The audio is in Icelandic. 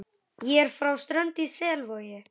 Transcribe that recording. Ég er frá Strönd í Selvogi.